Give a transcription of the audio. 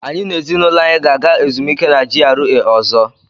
Anyị na ezinụlọ anyị ga-aga ezumike na GRA ọzọ.